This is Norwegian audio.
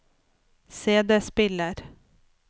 CD-spiller